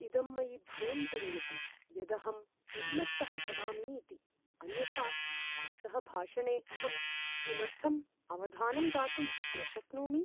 इदं मयि भयं जनयति यदहम् उन्मत्तः भवामि इति, अन्यथा, भवतः भाषणे अहं किमर्थम् अवधानं दातुं न शक्नोमि?